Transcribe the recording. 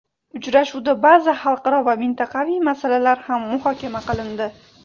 Uchrashuvda ba’zi xalqaro va mintaqaviy masalalar ham muhokama qilindi.